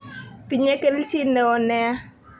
Tinye kelchin neo nia.